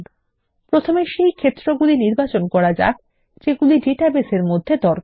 প্রথমে সেই আইটেম নির্বাচন করা যাক যেগুলির ডাটাবেসের মধ্যে দরকার